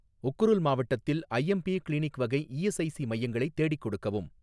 உக்ருல் மாவட்டத்தில் IMP clinic வகை ESIC மையங்களை தேடிக் கொடுக்கவும்